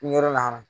Yɔrɔ lahara